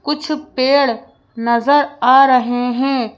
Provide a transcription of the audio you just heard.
कुछ पेड़ नजर आ रहे हैं।